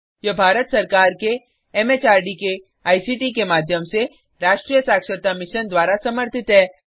यह भारत सरकार के एमएचआरडी के आईसीटी के माध्यम से राष्ट्रीय साक्षरता मिशन द्वारा समर्थित है